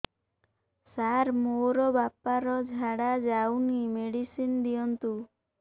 ସାର ମୋର ବାପା ର ଝାଡା ଯାଉନି ମେଡିସିନ ଦିଅନ୍ତୁ